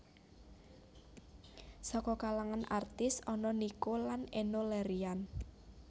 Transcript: Saka kalangan artis ana Nico lan Enno Lerian